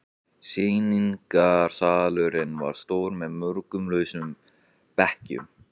Sýningarsalurinn var stór með mörgum lausum bekkjum.